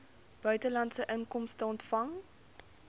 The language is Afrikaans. buitelandse inkomste ontvang